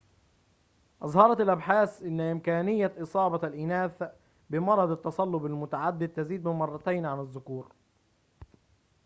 أظهرت الأبحاث أن إمكانية إصابة الإناث بمرض التصلب المتعدد تزيد بمرتين عن الذكور